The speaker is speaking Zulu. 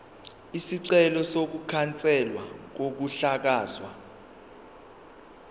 isicelo sokukhanselwa kokuhlakazwa